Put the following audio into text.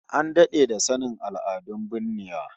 An dade da sanin al'adun binnewa